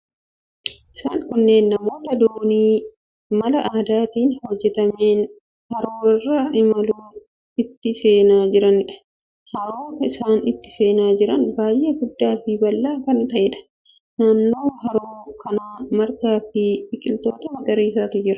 Isaan kunneen namoota doonii mala aadaatiin hojjetameen haroo irra imaluuf itti seenaa jiraniidha. Haroo isaan itti seenaa jiran baay'ee guddaa fi bal'aa kan ta'eedha. Naannoo haroo kanaa margaa fi biqiltoota magariisatu jira.